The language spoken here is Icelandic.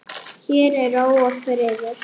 Hér er ró og friður.